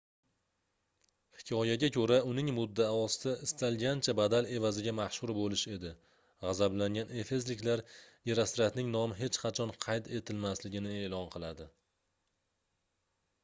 hikoyaga koʻra uning muddaosi istalgancha badal evaziga mashhur boʻlish edi gʻazablangan efesliklar gerostratning nomi hech qachon qayd etilmasligini eʼlon qiladi